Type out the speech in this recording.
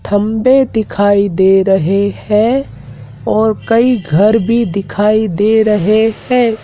थंबे दिखाई दे रहे हैं और कई घर भी दिखाई दे रहे हैं।